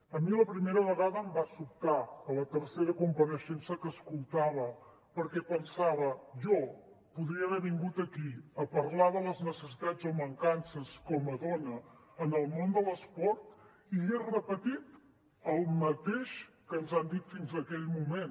a mi la primera vegada em va sobtar a la tercera compareixença que escoltava perquè pensava jo podria haver vingut aquí a parlar de les necessitats o mancances com a dona en el món de l’esport i hagués repetit el mateix que ens han dit fins aquell moment